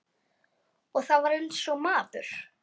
Og var eins og maður.